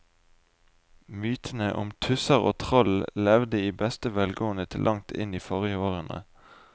Mytene om tusser og troll levde i beste velgående til langt inn i forrige århundre.